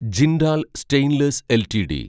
Jindal stainless LTD